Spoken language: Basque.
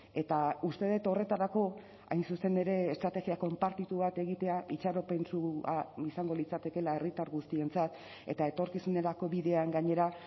eta uste dut horretarako hain zuzen ere estrategia konpartitu bat egitea itxaropentsua izango litzatekeela herritar guztientzat eta etorkizunerako bidean gainera